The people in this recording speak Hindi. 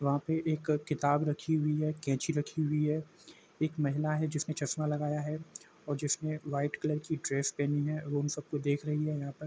वहाँ पे एक किताब रखी हुई है कैची रखी हुई है एक महिला है जिसने चश्मा लगाया है और जिसने वाइट कलर कि ड्रेस पहनी है वो इन सब को देख रही है । यहाँ पर --